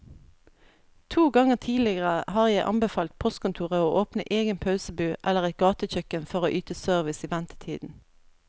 To ganger tidligere har jeg anbefalt postkontoret å åpne egen pølsebu eller et gatekjøkken for å yte service i ventetiden.